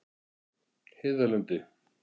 Heiðarlundi